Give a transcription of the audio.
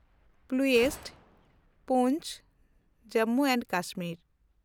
ᱯᱞᱩᱥᱴ (ᱯᱩᱱᱪ ᱡᱮ ᱮᱱᱰ ᱠᱮ)